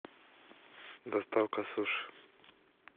доставка суши